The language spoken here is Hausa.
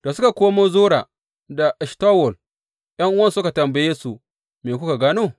Da suka komo Zora da Eshtawol, ’yan’uwansu suka tambaye su, Me kuka gano?